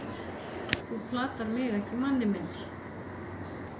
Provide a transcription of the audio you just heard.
þú platar mig ekki manni minn.